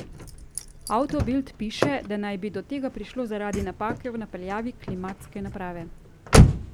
Auto Bild piše, da naj bi do tega prišlo zaradi napake v napeljavi klimatske naprave.